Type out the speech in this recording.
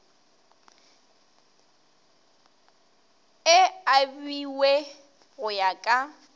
e abiwe go ya ka